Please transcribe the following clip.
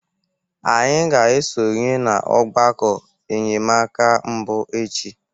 Anyị ga-esonye na ọgbakọ enyemaka mbụ echi.